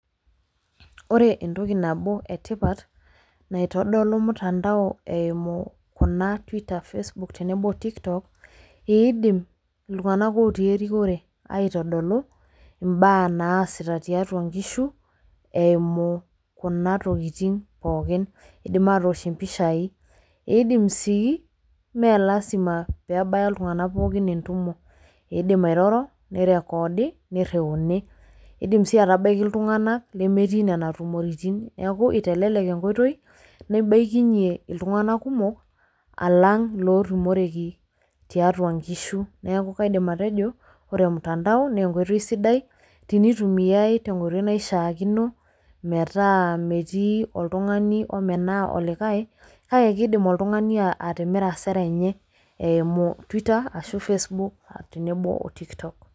Ore entoki nabo etipat naitodolu mutandao eimu kuna Twitter Facebook tenebo o TikTok eeidim iltung'anak ootii erikore aitodolu imbaa naasita tiatua nkishu eimu kuna tokitin pookin. Eidim atoosh impishai, eidim sii mee lasima peebaya iltung'ana pooki entumo, eidim airoro neirekoodi neirriuni. Eidim sii atabaiki iltung'ana lemetii nena tumoritin neaku eitelelek enkoitoi neibaikinye iltung'ana kumok alang' lootumoreki tiatua nkishu. Neaku kaidim atejo ore mtandao neenkoitoi sidai tinitumiai tenkoitoi naishaakino metaa metii oltung'ani omenaa olikae kake keidim oltung'ani atimira sera enye eimu Twitter ashuu Facebook tenebo o TikTok.